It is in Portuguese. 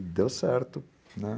E deu certo, né?